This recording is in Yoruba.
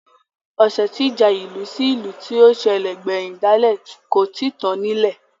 Osẹ́ tí ìjà ìlú sí ìlú tí ó sẹ̀lẹ̀ gbẹ̀hìn dálẹ̀ kò tíì tán nílẹ̀